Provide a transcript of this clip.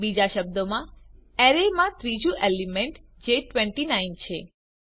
બીજા શબ્દોમાં અરેમાં ત્રીજું એલિમેન્ટ જે 29 છે